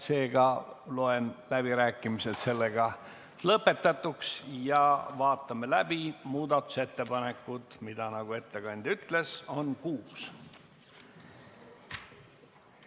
Seega loen läbirääkimised lõpetatuks ja vaatame läbi muudatusettepanekud, mida, nagu ettekandja ütles, on kuus.